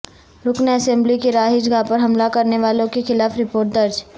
رکن اسملی کی رہائش گاہ پر حملہ کرنے والوں کے خلاف رپورٹ درج